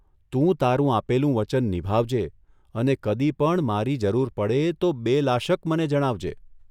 તું તારું આપેલું વચન નિભાવજે અને કદી પણ મારી જરૂર પડે તો બેલાશક મને જણાવજે.